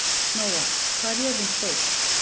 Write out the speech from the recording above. Nóa, hvað er jörðin stór?